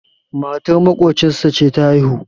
matar maƙocinsa ce ta haihu